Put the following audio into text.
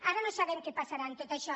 ara no sabem què passarà amb tot això